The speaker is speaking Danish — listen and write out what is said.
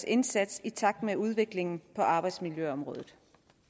indsats i takt med udviklingen på arbejdsmiljøområdet